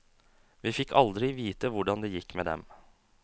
Vi fikk aldri vite hvordan det gikk med dem.